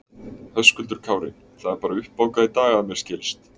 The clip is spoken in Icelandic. Höskuldur Kári: Það er bara uppbókað í dag að mér skilst?